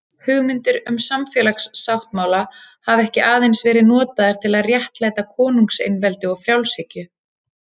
Hugmyndir um samfélagssáttmála hafa ekki aðeins verið notaðar til að réttlæta konungseinveldi og frjálshyggju.